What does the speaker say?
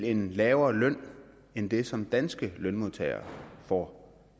en lavere løn end den som danske lønmodtagere får